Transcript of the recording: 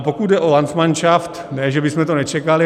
A pokud jde o landsmanšaft, ne že bychom to nečekali.